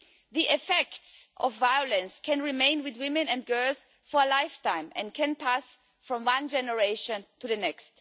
The effects of violence can remain with women and girls for a lifetime and can pass from one generation to the next.